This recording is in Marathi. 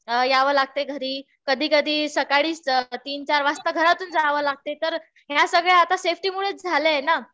यावं लागतंय घरी. कधी कधी सकाळीच तीन-चार वाजता घरातून जावं लागतं.तर ह्या सगळ्या आता सेफ्टी मूळच झालंय ना.